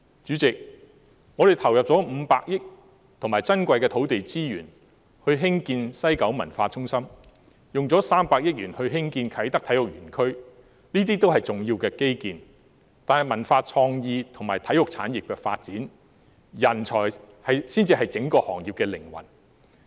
主席，我們投入了500億元和珍貴的土地資源興建西九文化中心，又花了300億元興建啟德體育園區，這些均是重要的基建，但在文化創意及體育產業的發展中，人才才是整個行業的靈魂。